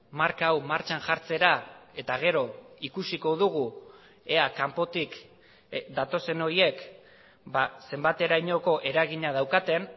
marka hau martxan jartzera eta gero ikusiko dugu ea kanpotik datozen horiek zenbaterainoko eragina daukaten